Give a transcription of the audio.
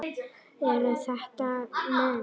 Eru þetta menn?